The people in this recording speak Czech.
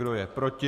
Kdo je proti?